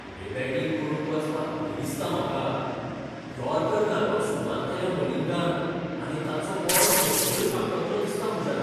फुडें बॅटींग करूंक वचपाक भंय दिसता म्हाका. यॉर्कर घालपाक सुरवात केल्या मलिंगान आनी ताचो बॉल तकलेरच आपटतलो दिसता म्हज्या.